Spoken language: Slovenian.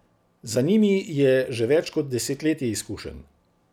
Za njimi je že več kot desetletje izkušenj.